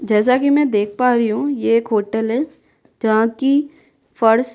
जैसा कि मैं देख पा रही हूँ यह एक होटल है जहाँ की फर्स --